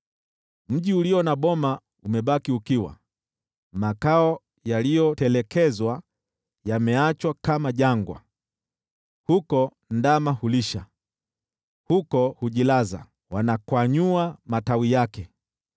Mji ulio na boma umebaki ukiwa, makao yaliyotelekezwa, yaliyoachwa kama jangwa. Huko ndama hulisha, huko hujilaza, wanakwanyua matawi yake.